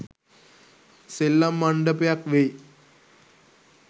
සෙල්ලම් මණ්ඩපයක් වෙයි.